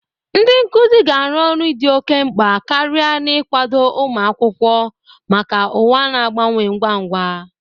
Ndị nkuzi ga-arụ ọrụ dị oke mkpa karịa n'ịkwado ụmụ akwụkwọ maka ụwa na-agbanwe ngwa ngwa.